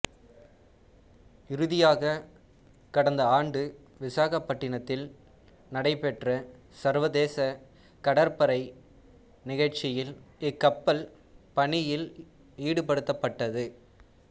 இறுதியாக கடந்த ஆண்டு விசாகப்பட்டினத்தில் நடைபெற்ற சர்வதேச கடற்படை நிகழ்ச்சியில் இக்கப்பல் பணியில் ஈடுபடுத்தப்பட்டது